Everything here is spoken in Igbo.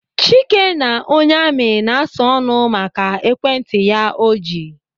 Chike na onye amị na-asa ọnụ maka ekwentị ya ahụ o ji.